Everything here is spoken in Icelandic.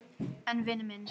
En vinur minn.